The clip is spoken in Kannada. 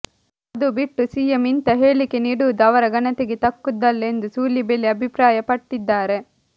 ಅದು ಬಿಟ್ಟು ಸಿಎಂ ಇಂಥ ಹೇಳಿಕೆ ನೀಡುವುದು ಅವರ ಘನತೆಗೆ ತಕ್ಕುದಲ್ಲ ಎಂದು ಸೂಲಿಬೆಲೆ ಅಭಿಪ್ರಾಯಪಟ್ಟಿದ್ದಾರೆ